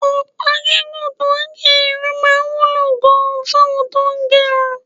Ọ̀pá gígùn tó ń gé irun máa wúlò gan-an fáwọn tó ń gẹrun